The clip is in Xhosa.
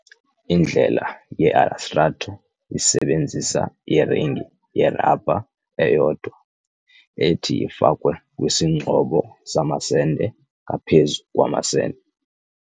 Indlela ye-Elastrator® isebenzisa iringi yerabha eyodwa ethi ifakwe kwisingxobo samasende ngaphezu kwamasende.